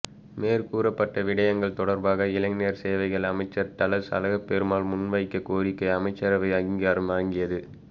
மேற்கூறப்பட்ட விடயங்கள் தொடர்பாக இளைஞர் சேவைகள் அமைச்சர் டலஸ் அலஹப்பெரும முன்வைத்த கோரிக்கைக்கு அமைச்சரவை அங்கீகாரம் வழங்கியது